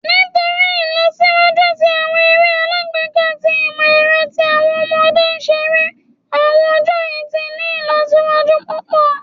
Nitori Ilọsiwaju ti awọn ere alagbeka ti imọ-ẹrọ ti awọn ọmọde ṣere awọn ọjọ yii ti ni ilọsiwaju pupọ